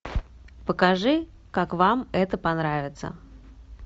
покажи как вам это понравиться